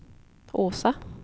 Åsa